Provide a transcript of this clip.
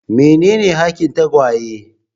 Menene hakin tagwaye?